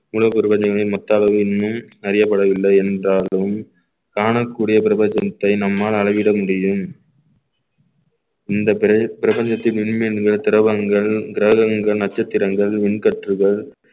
உலக அறியப்படவில்லை என்றாலும் காணக்கூடிய பிரபஞ்சத்தை நம்மால் அளவிட முடியும் இந்த பிர~ பிரபஞ்சத்தின் இனிமேல் திரவங்கள் கிரகங்கள் நட்சத்திரங்கள் மின் கற்றுகள்